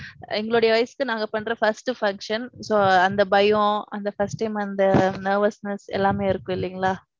எங்களுடைய வயசுக்கு நாங்க பண்ற first function. So அந்த பயம் அந்த first time அந்த nervousness எல்லாமே இருக்கு இல்லிங்களா.